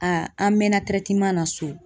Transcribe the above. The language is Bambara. Aa an mɛɛnna na so